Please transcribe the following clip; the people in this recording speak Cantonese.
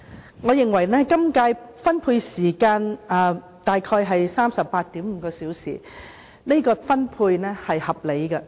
今屆預算案的辯論時間大約為 38.5 小時，我認為是合理的安排。